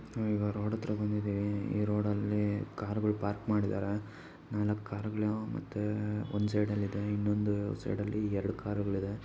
ಆಹ್ಹ್ ಈಗ ರೋಡ್ ಅತ್ರ ಬಂದಿದ್ದೀವಿ ಈ ರೋಡ್ ಅಲ್ಲಿ ಕಾರ್ಗಳ್ ಪಾರ್ಕ್ ಮಾಡಿದರೆ ನಾಲ್ಕ್ ಕಾರ್ಗಳ್ ಮತ್ತೆ ಒಂದ್ ಸೈಡ್ ಅಲ್ಲಿ ಇದೆ ಇನ್ನೊಂದು ಸೈಡ್ ಅಲ್ಲಿ ಎರಡ್ ಕಾರ್ಗಳ್ ಇದೆ .